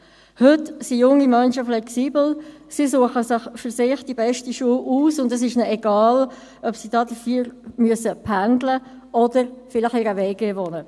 Heute sind junge Menschen flexibel, sie suchen sich die für sie beste Schule aus, und es ist ihnen egal, ob sie dafür pendeln oder in einer WG wohnen müssen.